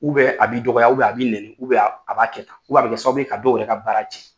a b'i dɔgɔya a b'i nɛni a b'a kɛ tan a bɛ kɛ sababu ye ka dɔw yɛrɛ ka bara